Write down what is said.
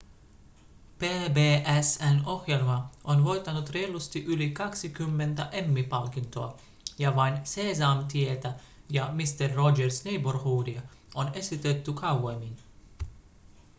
pbs:n ohjelma on voittanut reilusti yli 20 emmy-palkintoa ja vain seesamtietä ja mister rogers' neighborhoodia on esitetty kauemmin